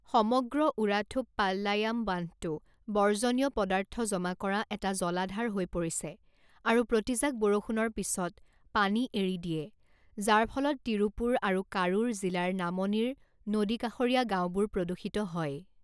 সমগ্ৰ ওৰাথুপ্পালায়াম বান্ধটো বৰ্জনীয় পদাৰ্থ জমা কৰা এটা জলাধাৰ হৈ পৰিছে আৰু প্ৰতিজাক বৰষুণৰ পিছত পানী এৰি দিয়ে, যাৰ ফলত তিৰুপুৰ আৰু কাৰুৰ জিলাৰ নামনিৰ নদীকাষৰীয়া গাঁওবোৰ প্ৰদূষিত হয়।